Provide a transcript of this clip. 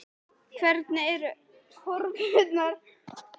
Hvernig eru horfurnar?